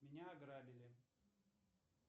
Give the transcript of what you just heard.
меня ограбили